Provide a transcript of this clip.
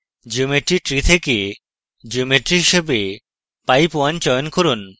geometry tree থেকে geometry হিসাবে pipe _ 1 চয়ন করুন